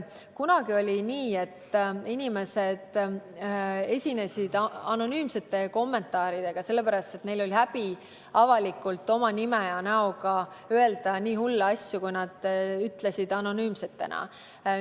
Kunagi oli nii, et inimesed esinesid anonüümsete kommentaaridega, sest neil oli häbi avalikult oma nime ja näoga öelda nii hulle asju, nagu nad anonüümsetena ütlesid.